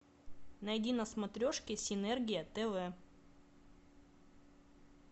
найди на смотрешке синергия тв